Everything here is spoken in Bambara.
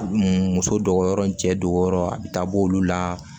Muso dogo yɔrɔ ni cɛ dogoyɔrɔ a bɛ taa b'olu la